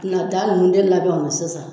Nata ninnu de labɛn o la sisan sa.